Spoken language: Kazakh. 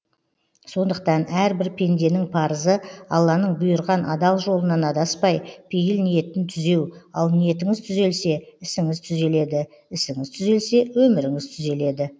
сондықтан әрбір пенденің парызы алланың бұйырған адал жолынан адаспай пейіл ниетін түзеу ал ниетіңіз түзелсе ісіңіз түзеледі ісіңіз түзелсе өміріңіз түзеледі